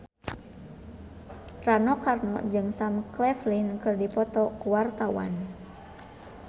Rano Karno jeung Sam Claflin keur dipoto ku wartawan